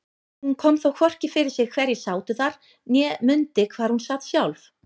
Hún kom þó hvorki fyrir sig hverjir sátu þar né mundi hvar hún sat sjálf.